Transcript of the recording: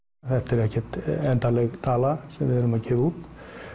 þetta er ekkert endanleg tala sem við erum að gefa út